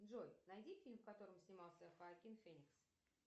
джой найди фильм в котором снимался хоакин феникс